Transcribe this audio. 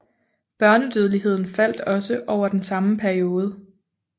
Børnedødeligheden faldt også over den samme periode